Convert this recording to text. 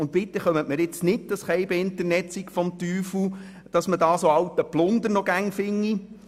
Bitte sagen Sie mir jetzt nicht, das Internet sei des Teufels, weil man dort noch so alten Plunder finde.